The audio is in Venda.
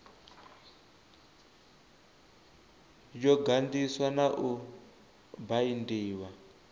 yo ganḓiswa na u baindiwa